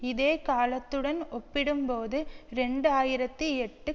இதே காலத்துடன் ஒப்பிடும்போது இரண்டு ஆயிரத்தி எட்டு